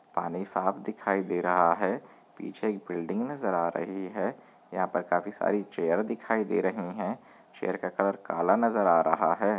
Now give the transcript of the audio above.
पानी साफ दिखाई दे रहा है पीछे एक बिल्डिंग नजर आ रही है यहा पर काफी सारी चेयर दिखाई दे रही है चेयर का कलर काला नजर आ रहा है।